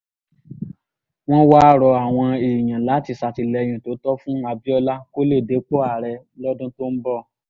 wọ́n wáá rọ àwọn èèyàn láti ṣàtìlẹ́yìn tó tọ́ fún abiola kó lè dépò ààrẹ lọ́dún tó ń bọ̀